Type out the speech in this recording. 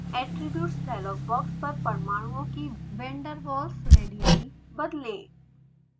attributes dialogue box पर परमाणुओं की van der walls radii बदलें